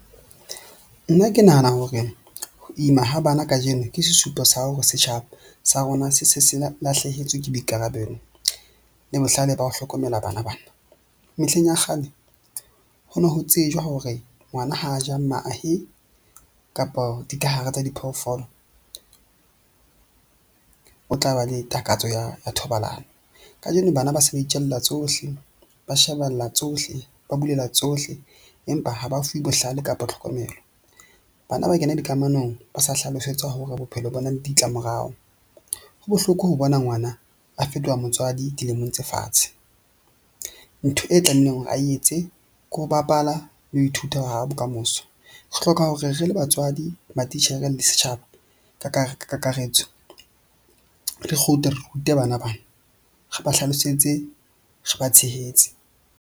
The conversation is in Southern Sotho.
Nna ke nahana hore ho ima ha bana kajeno ke sesupo sa ha hore setjhaba sa rona se se se lahlehetswe ke boikarabelo le bohlale ba ho hlokomela bana bana. Mehleng ya kgale, ho ne ho tsejwa hore ngwana ha a ja mahe kapa dikahare tsa diphoofolo o tla ba le takatso ya thobalano. Kajeno bana ba se ba itjella tsohle, ba shebella tsohle, ba bulela tsohle, empa ha ba fuwe bohlale kapa tlhokomelo. Bana ba kena dikamanong ba sa hlalosetswa hore bophelo bona le ditlamorao. Ho bohloko ho bona ngwana a fetoha motswadi dilemong tse fatshe. Ntho e tlamehileng hore a etse ke ho bapala le ho ithuta ho haha bokamoso. Re hloka hore re le batswadi, matitjhere le setjhaba ka kakaretso, re kgutle re rute bana bana, re ba hlalosetse, re ba tshehetse.